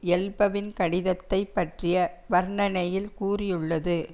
எல்பவின் கடிதத்தை பற்றிய வர்ணனையில் கூறியுள்ளது